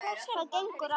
Hvað gengur á!